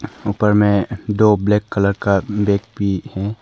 ऊपर में दो ब्लैक कलर का बैग भी है।